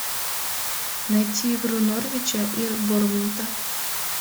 найти игру норвича и борнмута